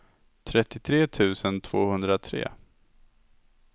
trettiotre tusen tvåhundratre